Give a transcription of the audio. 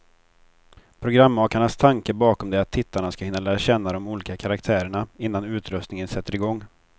Programmakarnas tanke bakom det är att tittarna ska hinna lära känna de olika karaktärerna, innan utröstningen sätter igång.